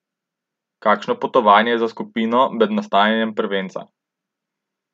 Kakšno potovanje je za skupino med nastajanjem prvenca?